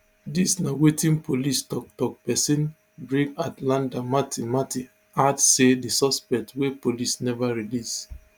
dis na wetin police toktok pesin brig athlenda mathe mathe add say di suspect wey police neva release